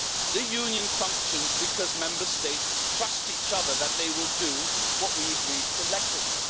The Union functions because Member States trust each other that they will do what we agreed collectively.